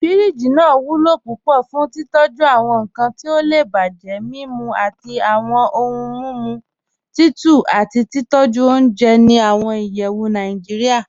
Fíríjì naa wulo púpọ̀ fún títọ̀jú awọn nkan ti ó lè bájẹ, mimú awọn ọ̀hun mímú tutù, àti títọ̀jú ọ̀unjẹ́ ní awọn ìyẹ́wù Nàìjíríà.